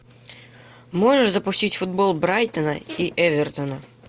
можешь запустить футбол брайтона и эвертона